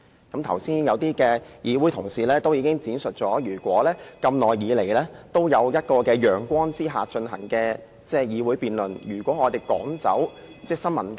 剛才有些同事已經闡述，議會長久以來都在陽光之下進行辯論，如果我們趕走新聞界，......